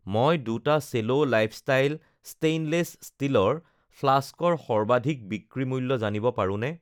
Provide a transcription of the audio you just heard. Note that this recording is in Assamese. মই ২ টা চেলো লাইফষ্টাইল ষ্টেইনলেছ ষ্টীলৰ ফ্লাস্কৰ সৰ্বাধিক বিক্ৰী মূল্য জানিব পাৰোনে?